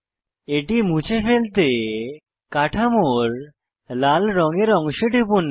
এটি মুছে ফেলতে কাঠামোর লাল রঙের অংশে টিপুন